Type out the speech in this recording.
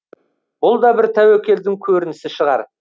бұл да бір тәуекелдің көрінісі шығар